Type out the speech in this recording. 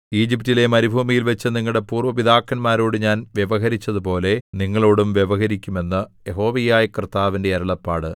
ഈജിപ്റ്റിലെ മരുഭൂമിയിൽവച്ച് നിങ്ങളുടെ പൂര്‍വ്വ പിതാക്കന്മാരോട് ഞാൻ വ്യവഹരിച്ചതുപോലെ നിങ്ങളോടും വ്യവഹരിക്കും എന്ന് യഹോവയായ കർത്താവിന്റെ അരുളപ്പാട്